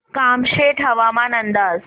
कामशेत हवामान अंदाज